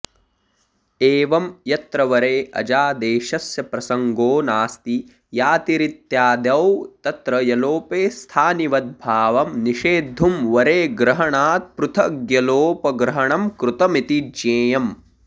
एवं यत्र वरे अजादेशस्य प्रसङ्गो नास्ति यातिरित्यादौ तत्र यलोपे स्थानिवद्भावं निषेद्धुं वरेग्रहणात्पृथग्यलोपग्रहणं कृतमिति ज्ञेयम्